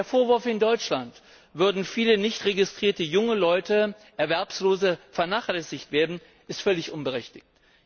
Der Vorwurf, in Deutschland würden viele nicht registrierte erwerbslose junge Leute vernachlässigt werden, ist völlig unberechtigt.